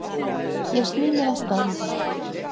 Ég sný mér að staðreyndum.